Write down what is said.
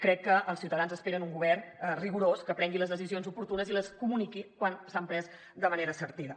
crec que els ciutadans esperen un govern rigorós que prengui les decisions oportunes i les comuniqui quan s’han pres de manera certera